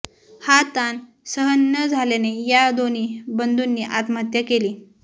हा ताण सहन न झाल्याने या दोन्ही बंधूंनी आत्महत्या केली